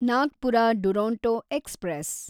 Nagpur Duronto express